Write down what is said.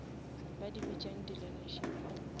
ba di bitšang di learnership